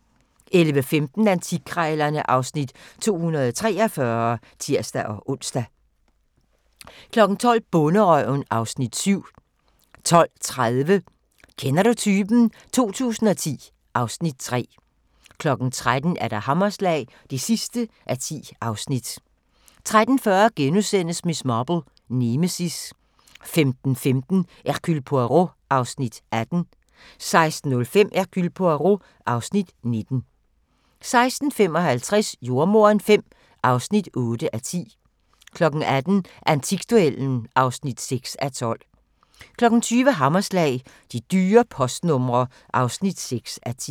11:15: Antikkrejlerne (Afs. 243)(tir-ons) 12:00: Bonderøven (Afs. 7) 12:30: Kender du typen? 2010 (Afs. 3) 13:00: Hammerslag (10:10) 13:40: Miss Marple: Nemesis * 15:15: Hercule Poirot (Afs. 18) 16:05: Hercule Poirot (Afs. 19) 16:55: Jordemoderen V (8:10) 18:00: Antikduellen (6:12) 20:00: Hammerslag – De dyre postnumre (6:10)